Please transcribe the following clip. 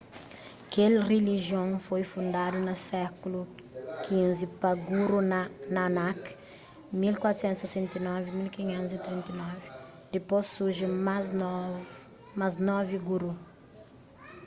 kel rilijion foi fundadu na sékulu xv pa guru nanak 1469--1539. dipôs surji más novi guru